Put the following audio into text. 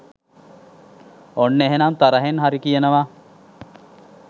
ඔන්න එහෙනම් තරහෙන් හරි කියනවා